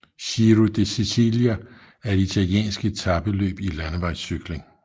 Giro di Sicilia er et italiensk etapeløb i landevejscykling